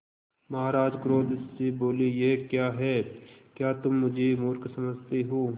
महाराज क्रोध से बोले यह क्या है क्या तुम मुझे मुर्ख समझते हो